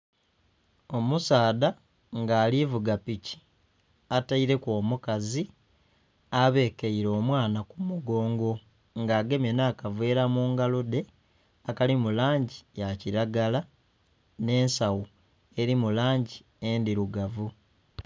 Omusadha nga ari kuvuga piki ataileku omukazi abekeire omwana kumugongo nga agemye n'akaveela mungalo dhe akali mulangi ya kilagara n'ensawo eli mulangi endhirugavu